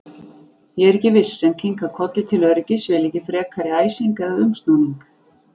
Ég er ekki viss, en kinka kolli til öryggis, vil ekki frekari æsing eða umsnúning.